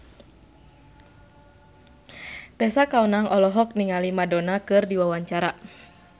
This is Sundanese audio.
Tessa Kaunang olohok ningali Madonna keur diwawancara